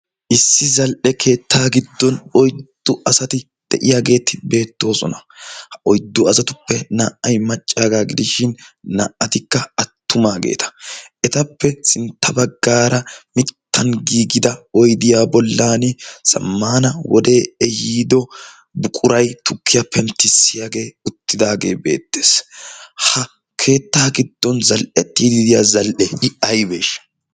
Issi zal'ee keettaa giddon oyddu asati de'iyaageeti beettoosona. Ha oyddu asatuppe naa'ay maccaagaa gidishshin naa'atikka attumaageeta. Etappe sintta baggaara mittan giigida oydiyaa bollan zamaana wodee ehiido buquray tukkiyaa penttissiyaagee uttidaagee beettees. Ha keettaa giddon zal'ettiidi de'iya zal'e i aybesha?